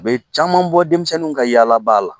U be caman bɔ denmisɛnninw ka yaalaba la.